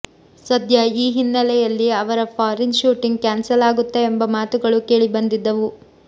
ಸದ್ಯ ಈ ಹಿನ್ನೆಲೆಯಲ್ಲಿ ಅವರ ಫಾರಿನ್ ಶೂಟಿಂಗ್ ಕ್ಯಾನ್ಸಲ್ ಆಗುತ್ತಾ ಎಂಬ ಮಾತುಗಳೂ ಕೇಳಿ ಬಂದಿದ್ದವು